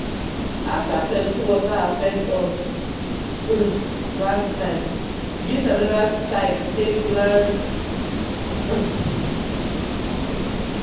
after plenty water affect us um last time we use another style take plant. um